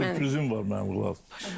Qulaq as, sürprizim var mənim qulaq as.